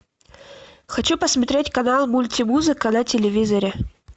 хочу посмотреть канал мультимузыка на телевизоре